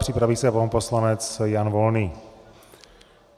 Připraví se pan poslanec Jan Volný.